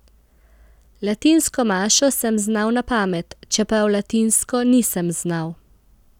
Latinsko mašo sem znal na pamet, čeprav latinsko nisem znal.